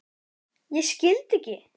Ég skildi ekki.